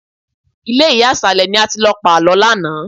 Ilé ìyá ìsàlẹ̀ ni a ti lọ pàlọ́ lánàá